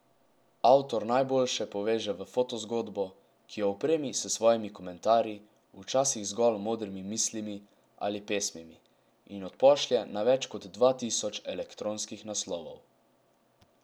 Avtor najboljše poveže v fotozgodbo, ki jo opremi s svojimi komentarji, včasih zgolj modrimi mislimi ali pesmimi, in odpošlje na več kot dva tisoč elektronskih naslovov.